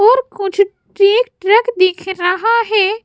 और कुछ truck truck दिख रहा है।